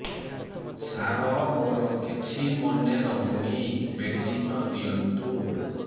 ସାର ମୋର କିଛି ମନେ ରହୁନି ମେଡିସିନ ଦିଅନ୍ତୁ